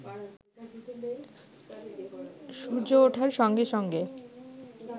সূর্য উঠবার সঙ্গে সঙ্গে